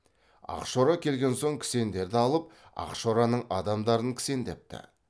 ақшора келген соң кісендерді алып ақшораның адамдарын кісендепті